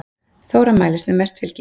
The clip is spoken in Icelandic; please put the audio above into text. Þóra mælist með mest fylgi